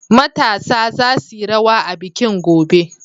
Matasa za su yi rawa a bikin, gobe!